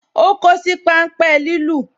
O kosi pan ń pe lilu